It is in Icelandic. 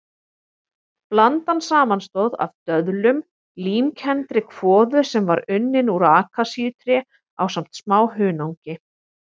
Blandan samanstóð af döðlum, límkenndri kvoðu sem var unnin úr akasíutré ásamt smá hunangi.